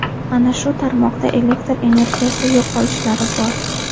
Ana shu tarmoqda elektr energiyani yo‘qolishlari bor.